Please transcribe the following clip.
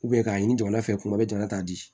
k'a ɲini jamana fɛ kuma bɛɛ jamana ta di